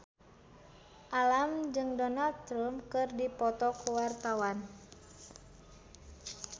Alam jeung Donald Trump keur dipoto ku wartawan